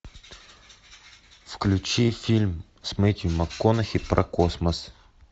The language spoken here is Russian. включи фильм с мэттью макконахи про космос